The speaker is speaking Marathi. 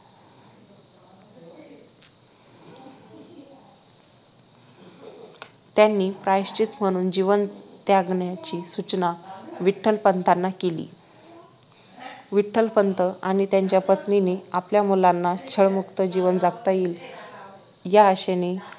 त्यांनी प्रायश्चित म्हणून जीवन त्यागण्याची सूचना विठ्ठलपंतांना केली विठ्ठलपंत आणि त्यांच्या पत्नीने आपल्या मुलांना छळमुक्त जीवन जगात येईल या आशेनें